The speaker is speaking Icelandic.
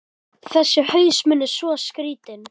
Þessi haus minn er svo skrýtinn.